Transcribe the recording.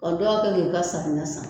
dɔ ka kɛ ni ka san ni ka san